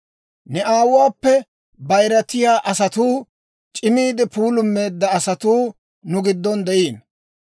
Ne aawuwaappe bayirattiyaa asatuu, c'imiide puulummeedda asatuu nu giddon de'iino.